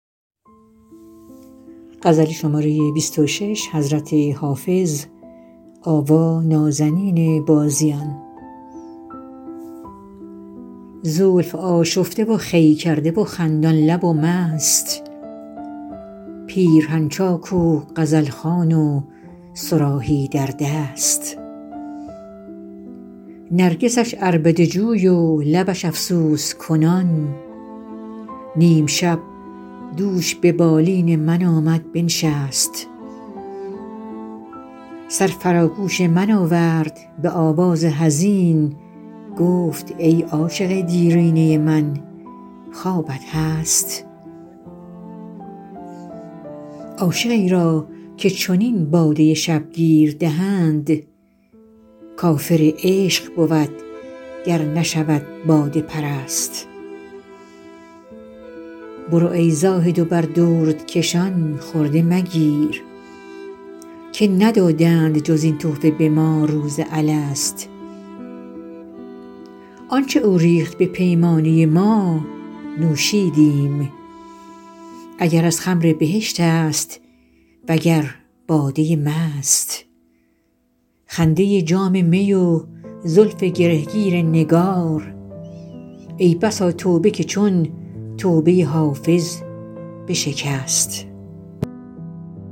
زلف آشفته و خوی کرده و خندان لب و مست پیرهن چاک و غزل خوان و صراحی در دست نرگسش عربده جوی و لبش افسوس کنان نیم شب دوش به بالین من آمد بنشست سر فرا گوش من آورد به آواز حزین گفت ای عاشق دیرینه من خوابت هست عاشقی را که چنین باده شبگیر دهند کافر عشق بود گر نشود باده پرست برو ای زاهد و بر دردکشان خرده مگیر که ندادند جز این تحفه به ما روز الست آن چه او ریخت به پیمانه ما نوشیدیم اگر از خمر بهشت است وگر باده مست خنده جام می و زلف گره گیر نگار ای بسا توبه که چون توبه حافظ بشکست